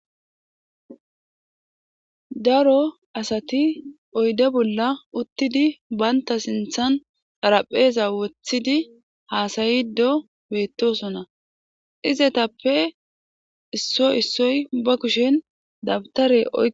daro asati oyde bolla uttidi baynta sinthan darapheeza wothidi haasayido beettosona izetappe isso issoy ba kushen dabtareoo